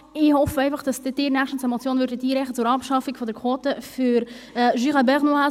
Ich hoffe, dass Sie demnächst eine Motion einreichen werden zur Abschaffung der Quote für den Jura bernois;